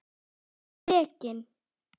Hann er rekinn.